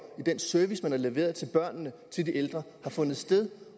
og den service man har leveret til børnene og til de ældre har fundet sted